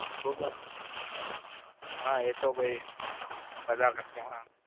હા એતો પછી